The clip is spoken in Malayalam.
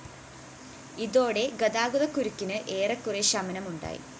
ഇതോടെ ഗതാക്കുരുക്കിന് ഏറെക്കുറെ ശമനമുണ്ടായി